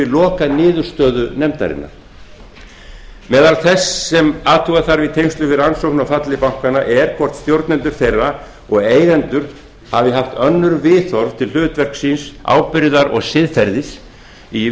lokaniðurstöðu nefndarinnar meðal þess sem athuga þarf í tengslum við rannsókn á falli bankanna er hvort stjórnendur þeirra og eigendur hafi haft önnur viðhorf til hlutverks síns ábyrgðar og siðferðis í